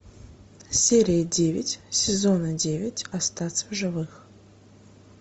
серия девять сезона девять остаться в живых